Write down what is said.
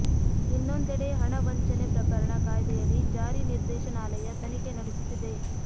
ಇನ್ನೊಂದೆಡೆ ಹಣ ವಂಚನೆ ಪ್ರಕರಣ ಕಾಯ್ದೆಯಡಿ ಜಾರಿ ನಿರ್ದೇಶನಾಲಯ ತನಿಖೆ ನಡೆಸುತ್ತಿದೆ